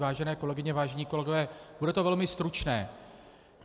Vážené kolegyně, vážení kolegové, bude to velmi stručné.